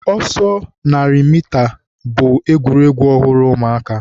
ọsọ narị mita bụ egwuregwu ọhụrụ ụmụaka.